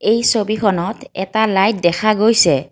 এই ছবিখনত এটা লাইট দেখা গৈছে।